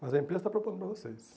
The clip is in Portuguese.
Mas a empresa está propondo para vocês.